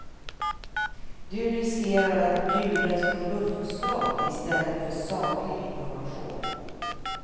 Du riskerar att bjudas på luftslott istället för saklig information.